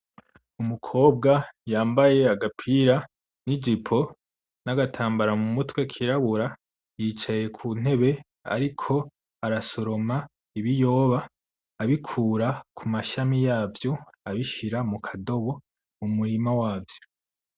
Umukobwa yambaye agapira n'ijipo n'agatambara mu mutwe kirabura, yicaye ku ntebe ariko arasoroma ibiyoba abikura ku mashami yavyo abishira mukadobo mu murima wavyo.